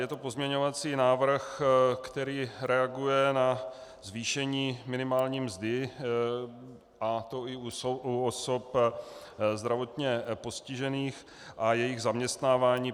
Je to pozměňovací návrh, který reaguje na zvýšení minimální mzdy, a to i u osob zdravotně postižených a jejich zaměstnávání.